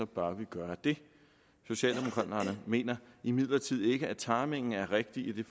bør vi gøre det socialdemokraterne mener imidlertid ikke at timingen er rigtig i det